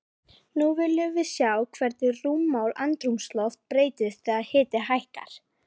Nú viljum við sjá hvernig rúmmál andrúmsloft breytist þegar hiti hækkar.